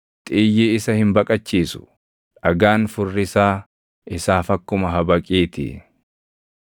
Xiyyi isa hin baqachiisu; dhagaan furrisaa isaaf akkuma habaqii ti.